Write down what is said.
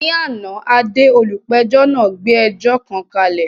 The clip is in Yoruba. Ní àná, Ade, olùpẹ̀jọ́ náà gbé ẹjọ́ kan kalẹ̀.